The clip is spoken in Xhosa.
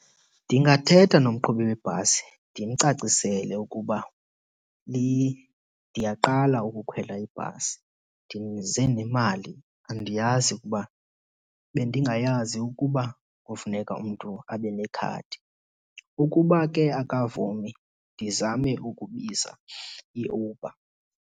Ndingathetha nomqhubi webhasi ndimcacisele ukuba ndiyaqala ukukhwela ibhasi ndize nemali andiyazi ukuba bendingayazi ukuba kufuneka umntu abe nekhadi. Ukuba ke akavumi ndizame ukubiza iUber.